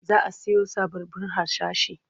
Za a siyo sababbun harsashi.